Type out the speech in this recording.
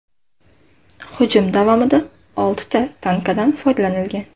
Hujum davomida oltita tankdan foydalanilgan.